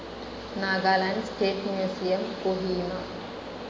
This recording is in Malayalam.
Nagaland State Museum, Kohima